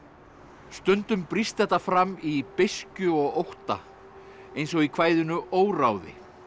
stundum brýst þetta fram í beiskju og ótta eins og í kvæðinu óráði